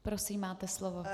Prosím, máte slovo.